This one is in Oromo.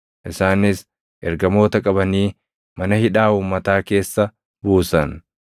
Isaanis ergamoota qabanii mana hidhaa uummataa keessa buusan.